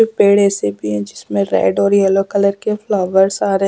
पेड़ ऐसे भी है जिसमें रेड और येलो कलर के फ्लावर्स आ रहे हैं।